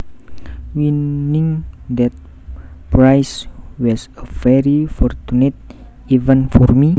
Winning that prize was a very fortunate event for me